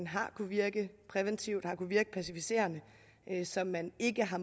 har kunnet virke præventivt og har kunnet virke pacificerende så man ikke har